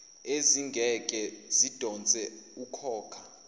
ezingeke zidonse ukhokha